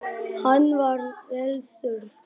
Hann var vel þurr.